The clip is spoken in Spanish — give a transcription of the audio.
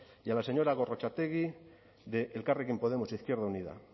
y a la señora gorrotxategi de elkarrekin podemos izquierda unida